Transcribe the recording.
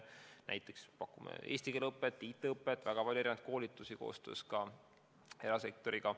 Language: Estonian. Näiteks pakume eesti keele õpet, IT-õpet, seejuures väga palju erinevaid koolitusi koostöös ka erasektoriga.